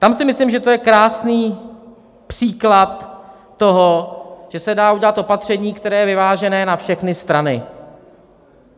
Tam si myslím, že to je krásný příklad toho, že se dá udělat opatření, které je vyvážené na všechny strany.